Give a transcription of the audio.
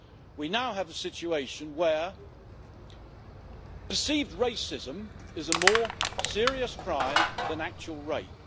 We now have a situation where perceived racism is a more serious crime than actual rape.